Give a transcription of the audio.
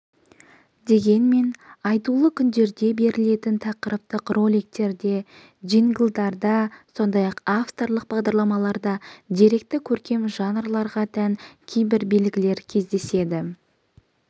дегенмен айтулы күндерде берілетін тақырыптық роликтерде джинглдарда сондай-ақ авторлық бағдарламаларда деректі көркем жанрларға тән кейбір белгілер кездеседі